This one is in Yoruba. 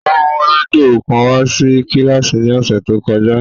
O mu rẹdio kan wa si kíláàsì ni ọsẹ to kọja.